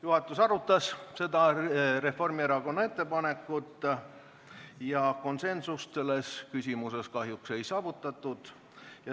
Juhatus arutas seda Reformierakonna ettepanekut ja konsensust selles küsimuses kahjuks ei saavutatud.